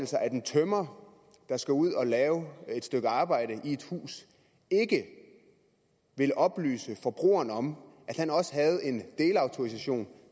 sig at en tømrer der skal ud og lave et stykke arbejde i et hus ikke vil oplyse forbrugeren om at han også havde en delautorisation